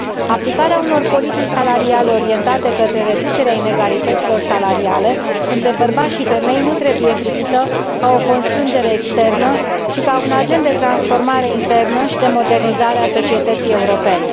Aplicarea unor politici salariale orientate către reducerea inegalităților salariale între bărbați și femei nu trebuie privită ca o constrângere externă, ci ca un agent de transformare internă și de modernizare a societății europene.